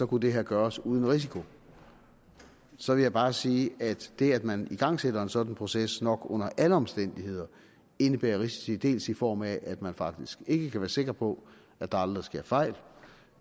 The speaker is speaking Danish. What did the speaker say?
kunne det her gøres uden risiko så vil jeg bare sige at det at man igangsætter en sådan proces nok under alle omstændigheder indebærer risici dels i form af at man faktisk ikke kan være sikker på at der aldrig sker fejl